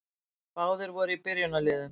Báðir voru í byrjunarliðum.